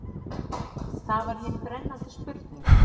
Það var hin brennandi spurning.